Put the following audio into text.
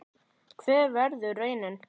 Hver verður raunin?